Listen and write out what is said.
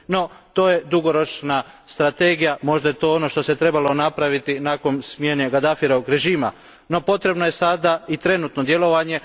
No to je dugoročna strategija. Možda je to ono što se trebalo napraviti nakon smjene Gadafijevog režima no potrebno je sada i trenutno djelovanje.